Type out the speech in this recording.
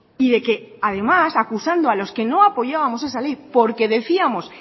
y de que además acusando a los que no apoyábamos esa ley porque decíamos